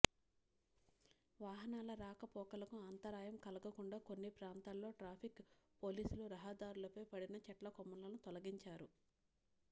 వాహనాల రాకపోకలకు అంతరాయం కలగకుండా కొన్ని ప్రాంతాల్లో ట్రాఫిక్ పోలీసులు రహదారులపై పడిన చెట్ల కొమ్మలను తొలగించారు